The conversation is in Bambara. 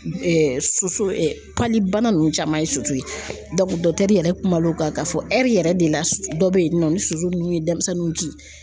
Soso ɛ pali bana nunnu caman ye soso ye yɛrɛ kumal'o kan k'a fɔ yɛrɛ de la dɔ bɛ yen nɔ ni soso nunnu ye denmisɛnninw ki